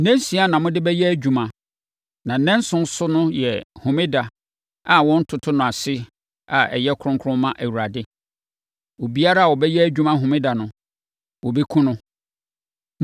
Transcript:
Nnansia na mode bɛyɛ adwuma. Na nnanson so no yɛ homeda a wɔntoto no ase a ɛyɛ kronkron ma Awurade. Obiara a ɔbɛyɛ adwuma homeda no, wɔbɛkum no.